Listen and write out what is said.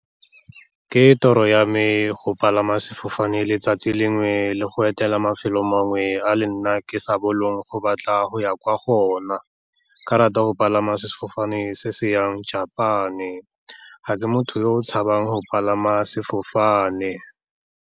Ke toro ya me go palama sefofane letsatsi lengwe, le go etela mafelo mangwe a le nna ke sa boleng go batla go ya kwa go ona. Ke ka rata go palama sefofane se se yang Japan-e, ga ke motho yo o tshabang go palama sefofane.